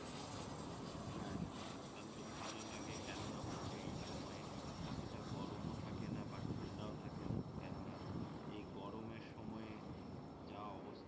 হ্যা শরৎকাল তো ভালো লাগে কেননা হচ্ছে এই সময়ে অতটা গরমও থাকেনা বা ঠান্ডাও থাকেনা কেননা এই গরমের সময়ে যা অবস্থা